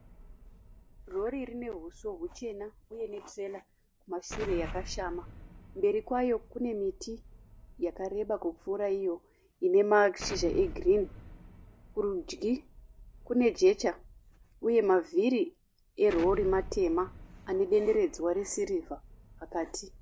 Rori rine huso huchena uye netirera kumashure yakashama. Mberi kwayo kune miti yakareba kupfuura iyo ine mashizha egirinhi. Kurudyi kune jecha uye mavhiri erori matema ane denderedzwa resirivha pakati.